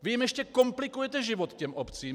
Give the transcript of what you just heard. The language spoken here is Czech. Vy jim ještě komplikujete život, těm obcím.